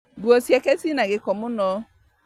Nguo ciake ciĩna gĩko mũno